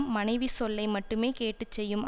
மனைவி சொல்லை மட்டுமே கேட்டு செய்யும்